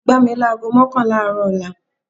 Ẹ gbá mi láágo mọ́kànlá àárọ̀ ọ̀la